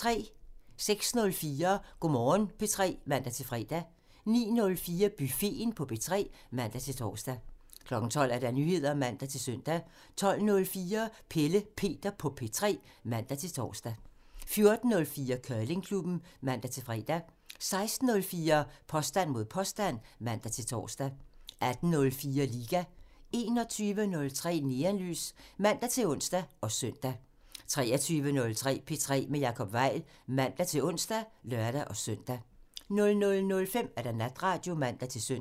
06:04: Go' Morgen P3 (man-fre) 09:04: Buffeten på P3 (man-tor) 12:00: Nyheder (man-søn) 12:04: Pelle Peter på P3 (man-tor) 14:04: Curlingklubben (man-fre) 16:04: Påstand mod påstand (man-tor) 18:04: Liga 21:03: Neonlys (man-ons og søn) 23:03: P3 med Jacob Weil (man-ons og lør-søn) 00:05: Natradio (man-søn)